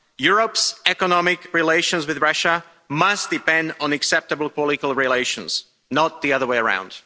Europe's economic relations with Russia must depend on acceptable political relations, not the other way around.